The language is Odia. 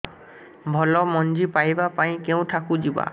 ଭଲ ମଞ୍ଜି ପାଇବା ପାଇଁ କେଉଁଠାକୁ ଯିବା